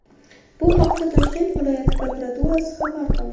Bu haqda Toshkent viloyati prokuraturasi xabar qildi .